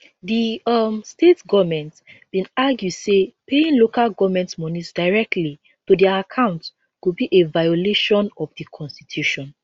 di um state goments bin argue say paying local goment monies directly to dia accounts go be a violation of di constitution